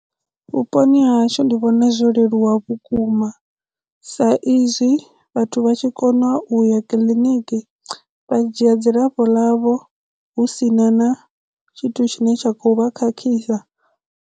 Vhuponi ha hashu ndi vhona zwo leluwa vhukuma sa izwi vhathu vha tshi kona u ya kiḽiniki vha dzhia dzilafho ḽavho hu sina na tshithu tshine tsha kho vha khakhisa.